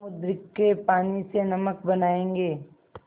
समुद्र के पानी से नमक बनायेंगे